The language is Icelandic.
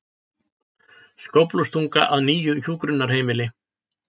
Skóflustunga að nýju hjúkrunarheimili